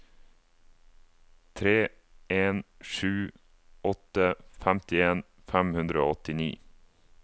tre en sju åtte femtien fem hundre og åttini